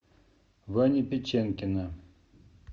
вани печенкина